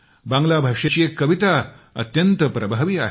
बांग्ला भाषेतली एक कविता अत्यंत प्रभावी आहे